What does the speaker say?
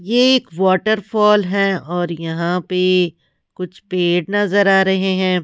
यह एक वाटरफॉल है और यहां पे कुछ पेड़ नजर आ रहे हैं।